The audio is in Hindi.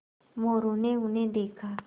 मोरू ने उन्हें देखा